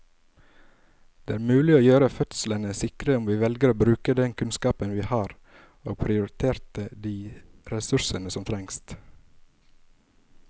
Det er mulig å gjøre fødslene sikre om vi velger å bruke den kunnskapen vi har og prioritere de ressursene som trengs.